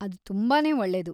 ಅದ್‌ ತುಂಬಾನೇ ಒಳ್ಳೇದು!